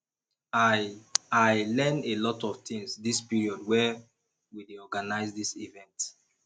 i i learn a lot of things dis period wey we dey organize dis event